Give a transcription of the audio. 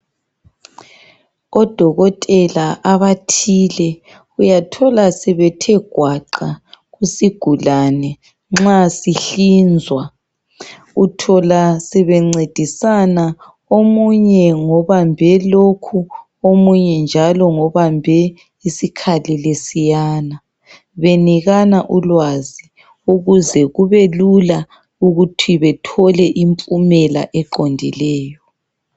Odokotela abathile uyathola sebethe gwaqa kusigulane nxa sihlinzwa. Uthola sebencedisana , omunye ngobambe lokhu omunye njalo ngobambe isikhali lesiyana, benikana ulwazi ukuze kubelula ukuthi bethole impumela eqondileyo.